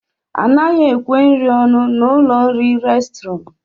Anaghị ekwe nri ọnụ n'ụlọ nri restrọn